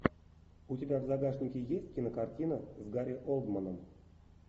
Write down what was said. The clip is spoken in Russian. у тебя в загашнике есть кинокартина с гарри олдманом